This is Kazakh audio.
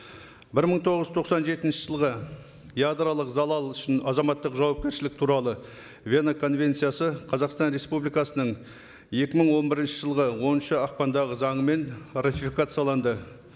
бір мың тоғыз жүз тоқсан жетінші жылғы ядролық залал үшін азаматтық жауапкершілік туралы вена конвенциясы қазақстан республикасының екі мың он бірінші жылғы оныншы ақпандағы заңымен ратификацияланды